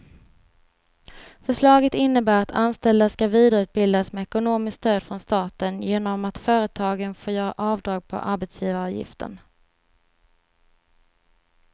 Förslaget innebär att anställda ska vidareutbildas med ekonomiskt stöd från staten genom att företagen får göra avdrag på arbetsgivaravgiften.